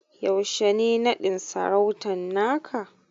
Yaushe ne naɗin sarautan naka?